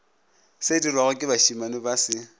sedirwago ke bašemane ba se